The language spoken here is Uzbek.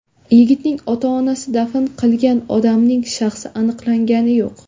Yigitning ota-onasi dafn qilgan odamning shaxsi aniqlangani yo‘q.